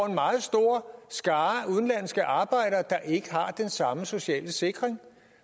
en meget stor skare udenlandske arbejdere der ikke har den samme sociale sikring